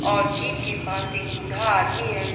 और जीप के पास एक बूढ़ा आदमी है।